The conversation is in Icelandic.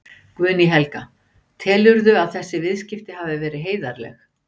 Guðný Helga: Telurðu að þessi viðskipti hafi verið heiðarleg?